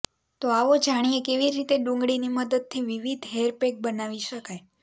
તો આવો જાણીએ કેવી રીતે ડુંગળીની મદદથી વિવિધ હેરપેક બનાવી શકાય